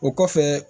O kɔfɛ